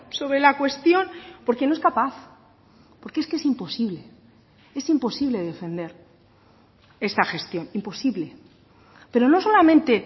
sobre la cuestión porque no es capaz porque es que es imposible es imposible defender esta gestión imposible pero no solamente